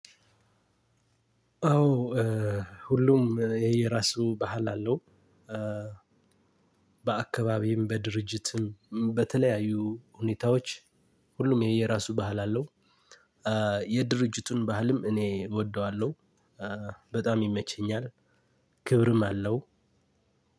አዎ እ ሁሉም የየራሱ ባህል አለው። እ በአካባቢም በድርጅትም በተለያዩ ሁኔታዎች ሁሉም የየራሱ ባህል አለው። እ የድርጅቱን ባህልም እኔ እወደዋለሁ እ በጣም ይመቸኛል። ክብርም አለው።